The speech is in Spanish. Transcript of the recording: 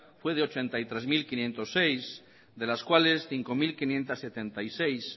fue de ochenta y tres mil quinientos seis de las cuales cinco mil quinientos setenta y seis